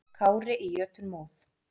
Kári í jötunmóð.